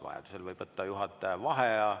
Vajadusel võib juhataja vaheaja võtta.